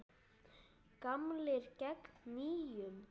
Gamlir gegn nýjum?